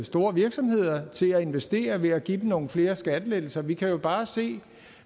store virksomheder til at investere ved at give dem nogle flere skattelettelser vi kan jo bare se